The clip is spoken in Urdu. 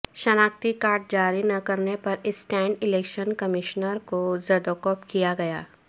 شناختی کارڈ جاری نہ کرنے پر اسٹنٹ الیکشن کمشنر کو زدوکوب کیا گیا